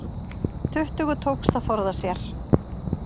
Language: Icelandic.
Tuttugu tókst að forða sér